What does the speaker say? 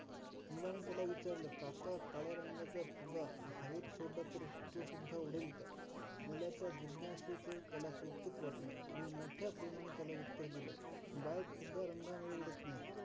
मुलाने त्याला विचारल, काका काळ्या रंगाचा फुगा हवेत सोडला तर तो सुद्धा उडेल का? मुलाच्या जिज्ञासेच त्याला कौतुक वाटल. मोठ्या प्रेमाने त्याला उत्तर दिल, बाळ फुगा रंगामुळे उडत नाही.